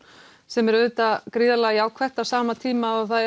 sem er auðvitað gríðarlega jákvætt á sama tíma og það